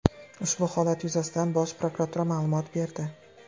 Ushbu holat yuzasidan Bosh prokuratura ma’lumot berdi.